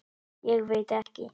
Ég veit ekki.